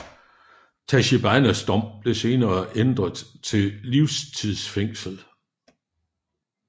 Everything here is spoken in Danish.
Tachibanas dom blev senere pendret til livstids fængsel